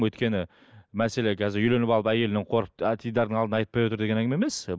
өйткені мәселе қазір үйленіп алып әйелінен қорқып теледирдың алдында айтпай отыр деген әңгіме емес